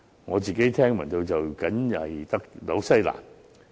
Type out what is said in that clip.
我自己聽聞的，僅新西蘭而已。